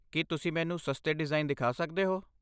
ਕੀ ਤੁਸੀਂ ਮੈਨੂੰ ਸਸਤੇ ਡਿਜ਼ਾਈਨ ਦਿਖਾ ਸਕਦੇ ਹੋ?